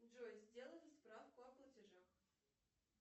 джой сделай справку о платежах